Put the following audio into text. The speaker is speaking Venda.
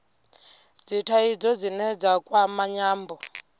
dzithaidzo dzine dza kwama nyambo